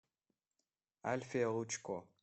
альфия лучко